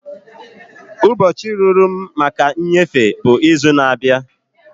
Ụbọchị ruru m maka nnyefe bụ izu na-abịa.